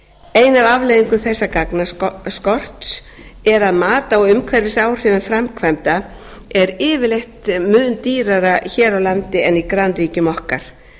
alþjóðasamningum ein af afleiðingum þessa gagnaskorts er að mat á umhverfisáhrifum framkvæmda er yfirleitt mun dýrara hér á landi en í grannríkjum okkar